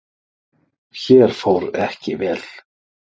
Hér fór ekki vel.